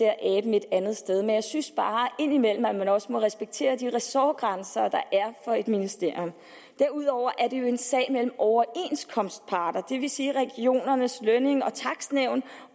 et andet sted men jeg synes bare indimellem at man også må respektere de ressortgrænser der er for et ministerium derudover er det jo en sag mellem overenskomstparter det vil sige regionernes lønnings og takstnævn